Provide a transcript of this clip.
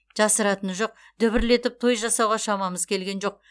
жасыратыны жоқ дүбірлетіп той жасауға шамамыз келген жоқ